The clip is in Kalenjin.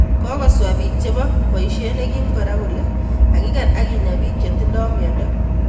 Kokoswa biik chebo boyiisyeet nekim kora kole kakikeer ak kinyaa biik chetinye myondo